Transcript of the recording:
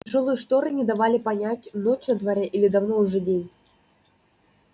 тяжёлые шторы не давали понять ночь на дворе или давно уже день